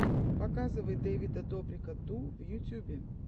показывай дэвида добрика ту в ютьюбе